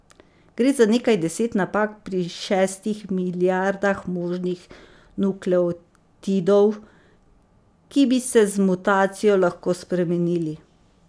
Gre za nekaj deset napak pri šestih milijardah možnih nukleotidov, ki bi se z mutacijo lahko spremenili.